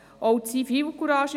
Es braucht auch Zivilcourage.